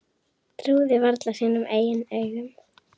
Trúði varla sínum eigin augum.